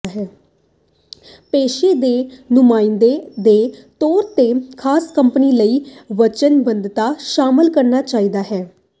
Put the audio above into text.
ਪੇਸ਼ੇ ਦੇ ਨੁਮਾਇੰਦੇ ਦੇ ਤੌਰ ਤੇ ਖਾਸ ਕੰਪਨੀ ਲਈ ਵਚਨਬੱਧਤਾ ਸ਼ਾਮਲ ਕਰਨਾ ਚਾਹੀਦਾ ਹੈ